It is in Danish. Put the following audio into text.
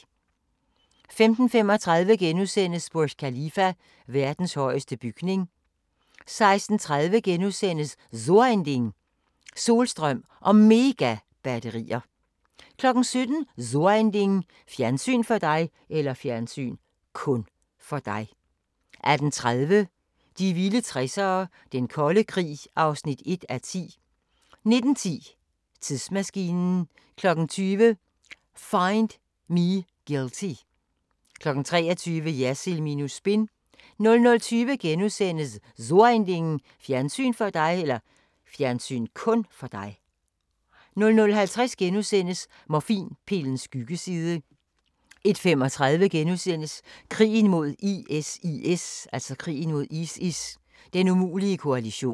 15:35: Burj Khalifa: Verdens højeste bygning * 16:30: So ein Ding: Solstrøm og Megabatterier * 17:00: So ein Ding: Fjernsyn (kun) for dig 18:30: De vilde 60'ere: Den kolde krig (1:10) 19:10: Tidsmaskinen 20:00: Find Me Guilty 23:00: Jersild minus spin 00:20: So ein Ding: Fjernsyn (kun) for dig * 00:50: Morfinpillens skyggeside * 01:35: Krigen mod ISIS: Den umulige koalition *